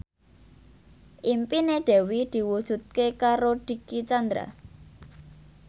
impine Dewi diwujudke karo Dicky Chandra